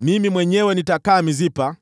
Mimi mwenyewe nitakaa Mispa